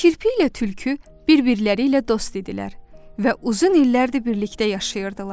Kirpi ilə tülkü bir-birləri ilə dost idilər və uzun illərdir birlikdə yaşayırdılar.